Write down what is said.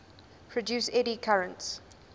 produce eddy currents